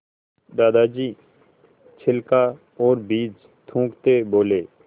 दादाजी छिलका और बीज थूकते बोले